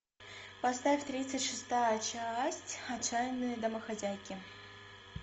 поставь тридцать шестая часть отчаянные домохозяйки